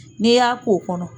N'i y'a k'o kɔnɔ